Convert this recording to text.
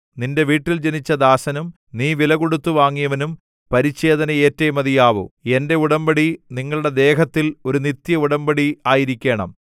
നിന്റെ വീട്ടിൽ ജനിച്ച ദാസനും നീ വിലകൊടുത്തു വാങ്ങിയവനും പരിച്ഛേദന ഏറ്റേ മതിയാവൂ എന്റെ ഉടമ്പടി നിങ്ങളുടെ ദേഹത്തിൽ ഒരു നിത്യഉടമ്പടിയായിരിക്കേണം